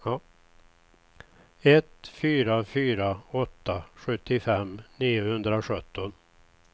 ett fyra fyra åtta sjuttiofem niohundrasjutton